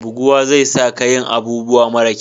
Buguwa zai sa ka yin abubuwa mara kyau